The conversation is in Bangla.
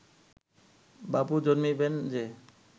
বাবু জন্মিবেন যে